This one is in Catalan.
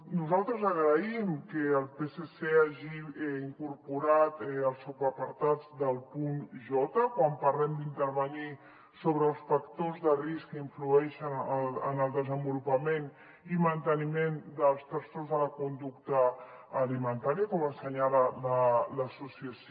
nosaltres agraïm que el psc hagi incorporat el subapartat del punt j quan parlem d’intervenir sobre els factors de risc que influeixen en el desenvolupament i manteniment dels trastorns de la conducta alimentària com assenyala l’associació